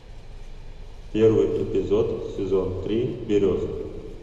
первый эпизод сезон три береза